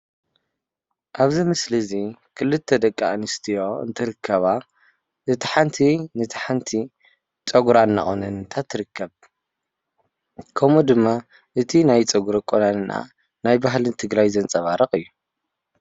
ካብ ዚ ምስሊ እዚ ክልተ ደቂ አንስትዮ እንትርከባ እታ ሓንቲ ነታ ሓንቲ ፀጉራ እናቆነነታ ትርከብ። ከምኡ ድማ እቲ ናይ ፀጉራ እናቃንናአ ናይ በህሊ ትግራይ ዘንፀባርቅ እዩ ፡፡